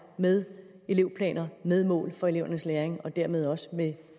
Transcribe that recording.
med elevplaner med mål for elevernes læring og dermed også med